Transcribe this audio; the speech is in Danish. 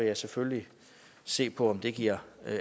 jeg selvfølgelig se på om det giver